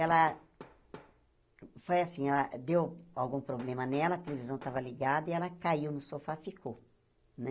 Ela... Foi assim, ela deu algum problema nela, a televisão estava ligada e ela caiu no sofá, ficou, né?